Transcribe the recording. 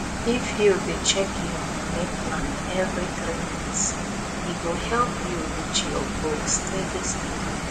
if you dey check your money plan every three months e go help you reach your goal steady steady